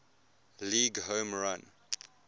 league home run